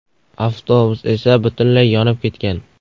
Avtobus esa butunlay yonib ketgan.